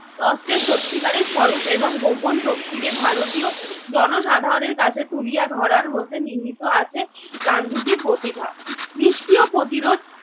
অস্ত্রের সত্যিকারের স্বরূপ এবং গোপন শক্তিকে ভারতীয় জনসাধারনের কাছে তুলিয়া ধরার মধ্যে নিহিত আছে গান্ধীজির প্রতিভা। নিস্ক্রিয় প্রতিরোধ